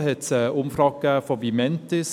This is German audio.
2016 gab es eine Umfrage von Vimentis.